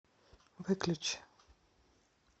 выключи